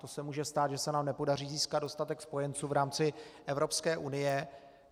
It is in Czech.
To se může stát, pokud se nám nepodaří získat dostatek spojenců v rámci Evropské unie.